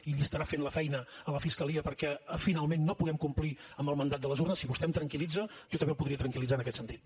i li estarà fent la feina a la fiscalia perquè finalment no puguem complir amb el mandat de les urnes si vostè em tranquil·litza jo també el podria tranquil·litzar en aquest sentit